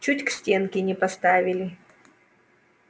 чуть к стенке не поставили